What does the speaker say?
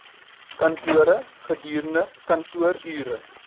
kantore gedurende kantoorure